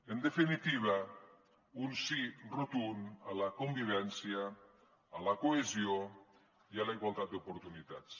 en definitiva un sí rotund a la convivència a la cohesió i a la igualtat d’oportunitats